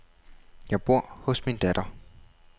Jeg bor hos min datter.